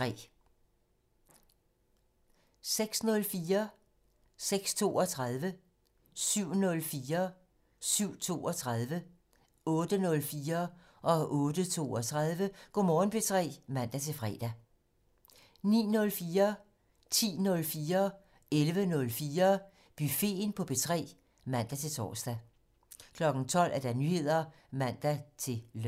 06:04: Go' Morgen P3 (man-fre) 06:32: Go' Morgen P3 (man-fre) 07:04: Go' Morgen P3 (man-fre) 07:32: Go' Morgen P3 (man-fre) 08:04: Go' Morgen P3 (man-fre) 08:32: Go' Morgen P3 (man-fre) 09:04: Buffeten på P3 (man-tor) 10:04: Buffeten på P3 (man-tor) 11:04: Buffeten på P3 (man-tor) 12:00: Nyheder (man-lør)